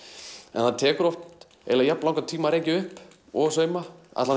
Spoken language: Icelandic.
en það tekur eiginlega jafn langan tíma að rekja upp og sauma allavega